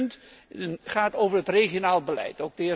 Het tweede punt gaat over het regionaal beleid.